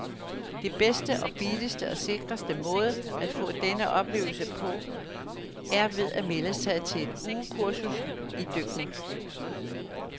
Den bedste og billigste og sikreste måde at få denne oplevelse på, er ved at melde sig til et ugekursus idykning.